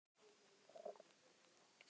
Heimir, mun hún þá standa við þá hótun núna?